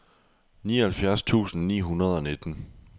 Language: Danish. nioghalvfjerds tusind ni hundrede og nitten